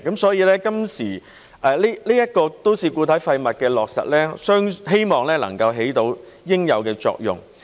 所以，都市固體廢物收費的落實，我希望能夠起到應有的作用。